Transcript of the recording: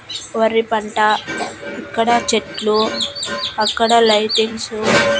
వరి పంట ఇక్కడ చెట్లు అక్కడ లైటింగ్సు .